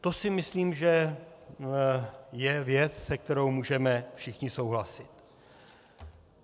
To si myslím, že je věc, se kterou můžeme všichni souhlasit.